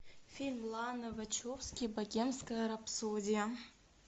фильм ланы вачовски богемская рапсодия